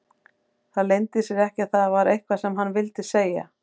Það leyndi sér ekki að það var eitthvað sem hann vildi segja.